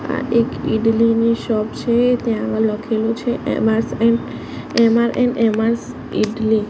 આ એક ઈડલીની શોપ છે ત્યાં લખેલુ છે ઈડલી.